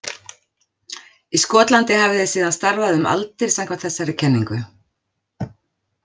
Í Skotlandi hafi þeir síðan starfað um aldir samkvæmt þessari kenningu.